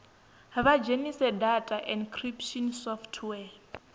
vha dzhenise data encryption software